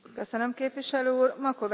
Vrem să știm ce mâncăm.